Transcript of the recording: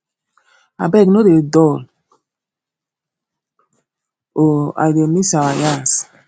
abeg no dey dull o i dey miss our yarns